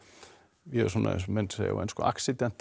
ég er eins og menn segja á ensku